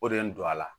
O de ye n don a la